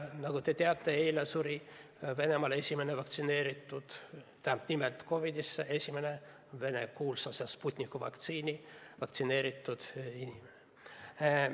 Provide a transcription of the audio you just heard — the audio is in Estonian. Nagu te teate, suri eile Venemaal COVID-isse esimene sealse kuulsa Sputniku vaktsiiniga vaktsineeritud inimene.